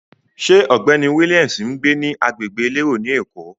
Ṣé ọ̀gbẹ́ni Williams ń gbé ní agbègbè elérò ni Èkó?